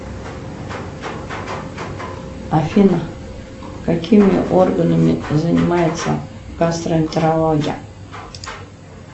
афина какими органами занимается гастроэнтерология